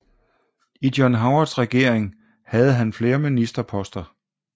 I John Howards regering havde han flere ministerposter